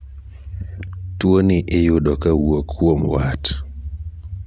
tuoni iyudo kawuok kuom wat